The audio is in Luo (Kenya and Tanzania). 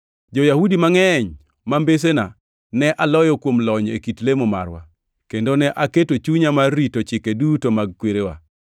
Jo-Yahudi mangʼeny ma mbesena ne aloyo kuom lony e kit lemo marwa, kendo ne aketo chunya mar rito chike duto mag kwerena.